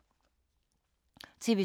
TV 2